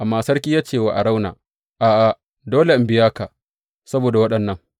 Amma sarki ya ce wa Arauna, A’a, dole in biya ka saboda waɗannan.